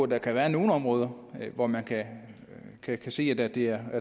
der kan være nogle områder hvor man kan kan sige at det er